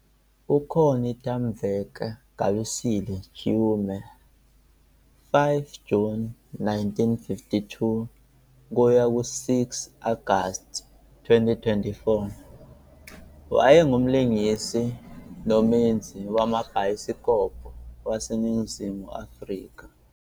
UConnie Temweka Gabisile Chiume, 5 June 1952 - 6 August 2024, wayengumlingisi nomenzi wamabhayisikobho waseNingizimu Afrika.